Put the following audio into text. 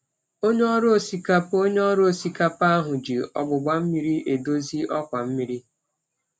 Onye ọrụ osikapa Onye ọrụ osikapa ahụ ji ogbugba mmiri edozi ọkwa mmiri.